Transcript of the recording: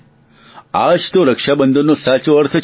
આજ તો રક્ષાબંધનનો સાચો અર્થ છે